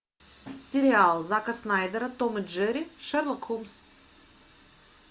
сериал зака снайдера том и джерри шерлок холмс